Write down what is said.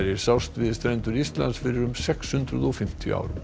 sást við strendur Íslands fyrir um sex hundruð og fimmtíu árum